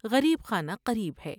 غریب خانہ قریب ہے ۔